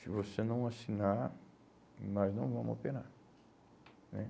Se você não assinar, nós não vamos operar né?